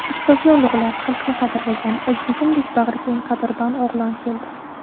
Ustozini ulug‘lab, Xalqini qadrlagan, O‘zbegimdek bag‘rikeng Qadrdon o‘g‘lon keldi.